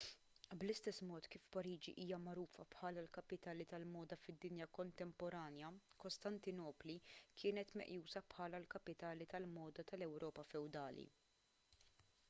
bl-istess mod kif pariġi hija magħrufa bħala l-kapitali tal-moda fid-dinja kontemporanja kostantinopli kienet meqjusa bħala l-kapitali tal-moda tal-ewropa fewdali